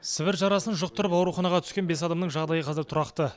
сібір жарасын жұқтырып ауруханаға түскен бес адамның жағдайы қазір тұрақты